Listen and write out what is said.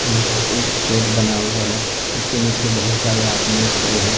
यहां पे एक शेड बना हुआ है जीसके नीचे बहुत सारे हाथ में खड़े हैं।